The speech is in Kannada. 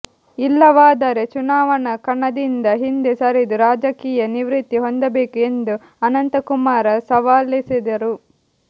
ಇಲ್ಲವಾದರೆ ಚುನಾವಣಾ ಕಣದಿಂದ ಹಿಂದೆ ಸರಿದು ರಾಜಕೀಯ ನಿವೃತ್ತಿ ಹೊಂದಬೇಕು ಎಂದು ಅನಂತಕುಮಾರ ಸವಾಲೆಸೆದರು